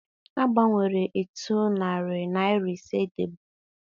A gbanwere etu narị naịra ise dịbu.